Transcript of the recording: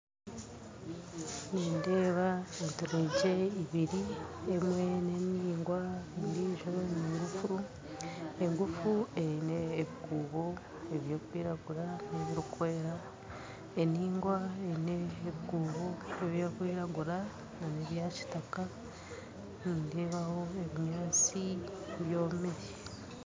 Nindeeba enturegye ibiri, emwe niningwa endiijo ningufu, engufu eine ebikuubo ebirikwiragura n'ebirikwera, eningwa eine ebikuubo ebirikwiragura na n'ebyakitaka, nindeebaho ebinyaatsi byomire.